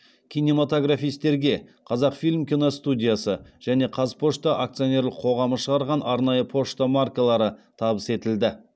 кинематографистерге қазақфильм киностудиясы және қазпошта акционерлік қоғамы шығарған арнайы пошта маркалары табыс етілді